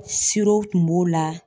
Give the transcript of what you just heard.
kun b'o la